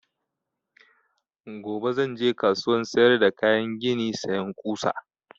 Gobe zan je kasuwan sayar da kayan gini sayan ƙusa